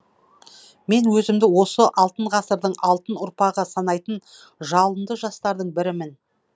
мен өзімді осы алтын ғасырдың алтын ұрпағы санайтын жалынды жастардың бірімін